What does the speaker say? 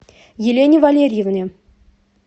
елене валерьевне